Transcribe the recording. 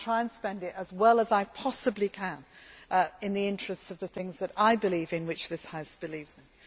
exists. I will try to spend it as well as I possibly can in the interests of the things that I believe in and which this House believes